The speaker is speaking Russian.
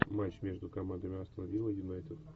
матч между командами астон вилла юнайтед